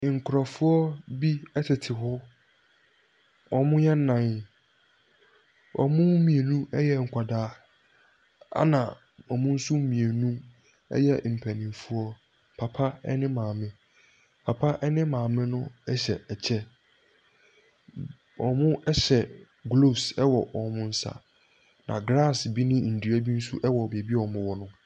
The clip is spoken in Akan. Nkorofo bi ɛtete hɔ, ɔmo yɛ nnan. Wɔnmu mmienu ɛyɛ nkwadaa ɛna ɔmo nso mmienu ɛyɛ mpaninfoɔ. Papa ɛne maame, papa ɛne maame no ɛhyɛ ɛkyɛ, ɔmo ɛhyɛ glooves ɛwɔ ɔmo nsa na glaase bi ne ndua bi nso ɛwɔ baabi ɔmo wɔ no.